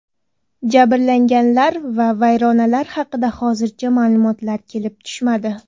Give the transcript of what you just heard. Jabrlanganlar va vayronalar haqida hozircha ma’lumotlar kelib tushmadi.